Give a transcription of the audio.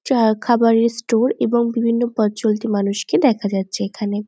চা খাবার এর স্টোর এবং বিভিন্ন পথ চলতি মানুষকে দেখা যাচ্ছে এইখানে।